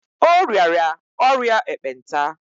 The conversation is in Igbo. O rịara ọrịa ekpenta.